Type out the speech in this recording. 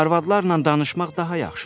Arvadlarla danışmaq daha yaxşıdır.